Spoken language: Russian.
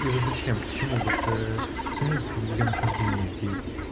и вот зачем к чему вот ээ смысл её нахождения здесь